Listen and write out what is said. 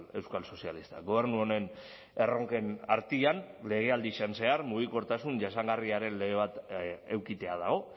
euskal sozialistak gobernu honen erronken artean legealdian zehar mugikortasun jasangarriaren lege bat edukitzea dago